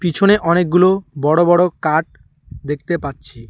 পিছনে অনেকগুলো বড় বড় কাঠ দেখতে পাচ্ছি।